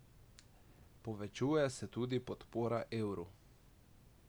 Povečuje se tudi podpora evru.